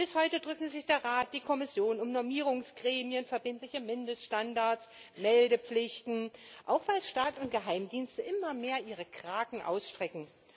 Bis heute drücken sich der Rat und die Kommission um Normierungsgremien, verbindliche Mindeststandards, Meldepflichten, auch weil Staat und Geheimdienste immer mehr ihre Krakenarme auf Daten ausstrecken.